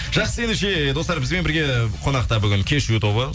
жақсы ендеше достар бізбен бірге қонақта бүгін кешью тобы